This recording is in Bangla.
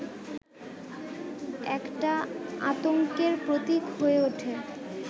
একটা আতংকের প্রতীক হয়ে ওঠে